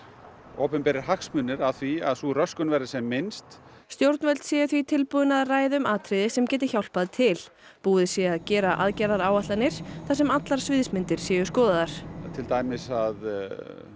opinberir hagsmunir af því að sú röskun verði sem minnst stjórnvöld séu því tilbúin að ræða um atriði sem geti hjálpað til búið sé að gera aðgerðaáætlanir þar sem allar sviðsmyndir séu skoðaðar til dæmis að